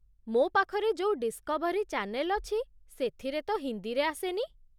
ମୋ ପାଖରେ ଯୋଉ ଡିସ୍କଭରୀ ଚାନେଲ୍ ଅଛି, ସେଥିରେ ତ ହିନ୍ଦୀରେ ଆସେନି।